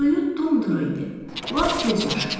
Suyu dum-duru idi, lap göz yaşı kimi.